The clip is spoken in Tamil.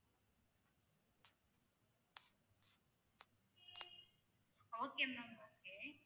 okay ma'am okay